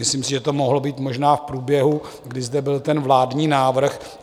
Myslím si, že to mohlo být možná v průběhu, kdy zde byl ten vládní návrh.